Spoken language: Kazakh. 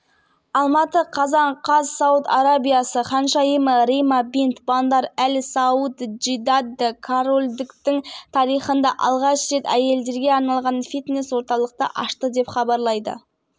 қазан күні сауд арабиясы олимпиада комитетінің президенті түрки бин абдул мухсин әл шейх сауд арабиясы спорт